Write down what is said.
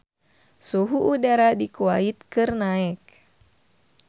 Suhu udara di Kuwait keur naek